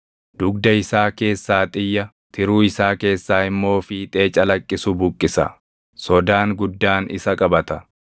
Dudga isaa keessaa xiyya, tiruu isaa keessaa immoo fiixee calaqqisu buqqisa. Sodaan guddaan isa qabata;